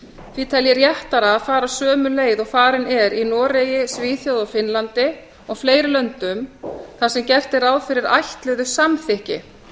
því tel ég réttara að fara sömu leið og farin er í noregi svíþjóð finnlandi og fleiri löndum þar sem gert er ráð fyrir ætluðu samþykki